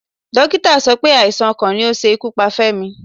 Dókítà sọ pé àìsàn ọkàn ni ó ṣe ikú pa Femi.